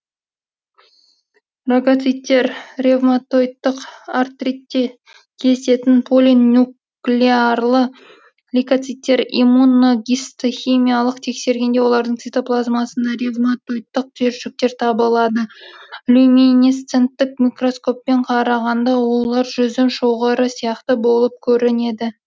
рагоциттер ревматоидтық артритте кездесетін полинуклеарлы лейкоциттер иммуногистохимиялық тексергенде олардың цитоплазмасында ревматоидтық түйіршіктер табылады люминесценттік микроскоппен қарағанда олар жүзім шоғыры сияқты болып көрінеді